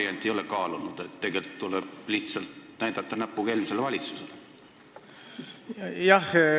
Kas te ei ole kaalunud seda varianti, et tuleb lihtsalt näpuga eelmisele valitsusele näidata?